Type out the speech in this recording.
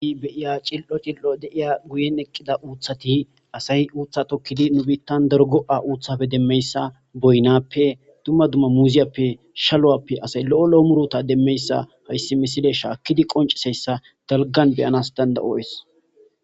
i beiya cil7o cil7o deiya guyen eqqida uuthati asay uutha tokkidi nu biittan derogo7a uuthafe demmeyssa boynappe dumma dumma muuziyappe shalowappe asay lo7o lo7o murota demmeyssa hayssi misile shaakkidi qonciseyssa dalgan beyanas danda7o7ees